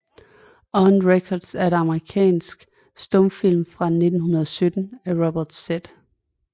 On Record er en amerikansk stumfilm fra 1917 af Robert Z